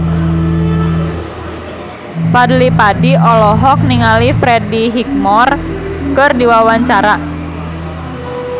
Fadly Padi olohok ningali Freddie Highmore keur diwawancara